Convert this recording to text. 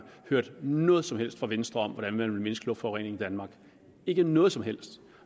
hørt noget som helst fra venstre om hvordan man vil mindske luftforureningen i danmark ikke noget som helst